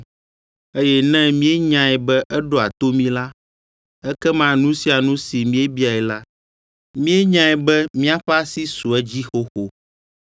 Eye ne míenyae be eɖoa to mí la, ekema nu sia nu si míebiae la, míenyae be míaƒe asi su edzi xoxo.